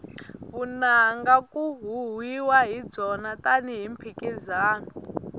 vunanga ku huhwiwa hi byona tani hi mphikizano